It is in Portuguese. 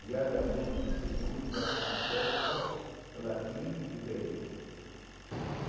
diariamente, de segunda a sexta, latim e grego.